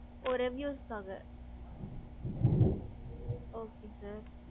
ஓ reviews காக okay sir.